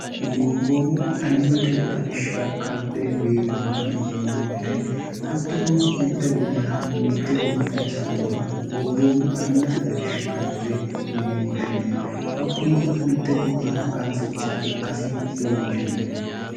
gobboommu ayimmate xawishsha karde biirubba yine moete hattuno mitte gobbara mitte gobba xawisannoha gobboommu ayimmate xawishshi karde yine woshshine hakkuno mitte gobba qansicha ikkasi leellishanno